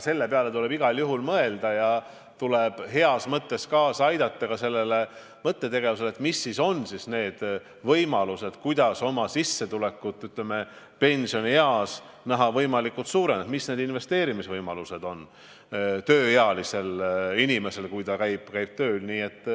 Selle peale tuleb igal juhul mõelda ja tuleb heas mõttes kaasa aidata mõttetegevusele, millised on võimalused saada peansionieas võimalikult suurt sissetulekut, millised investeerimisvõimalused on tööealisel inimesel, kui ta käib tööl.